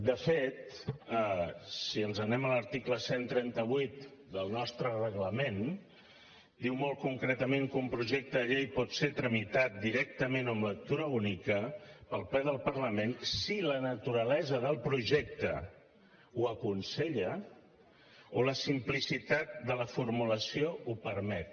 de fet si ens n’anem a l’article cent i trenta vuit del nostre reglament diu molt concretament que un projecte de llei pot ser tramitat directament o amb lectura única pel ple del parlament si la naturalesa del projecte ho aconsella o la simplicitat de la formulació ho permet